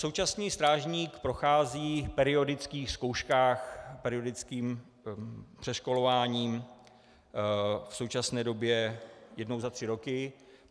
Současný strážník prochází v periodických zkouškách periodickým přeškolováním v současné době jednou za tři roky.